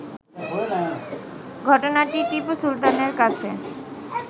ঘটনাটি টিপু সুলতানের কাছে